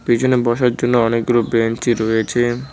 পিছনে বসার জন্য অনেকগুলো বেঞ্চ -ই রয়েছে।